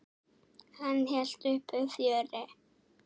Hann hélt uppi fjöri.